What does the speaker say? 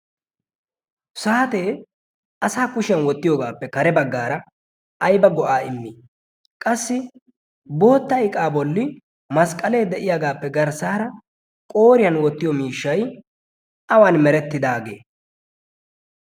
saatee asa kushiyan wottiyoogaappe kare baggaara ayba go'aa immi qassi bootta iqaa bolli masqqalee de'iyaagaappe garssaara qooriyan wottiyo miishshai awan merettidaagee?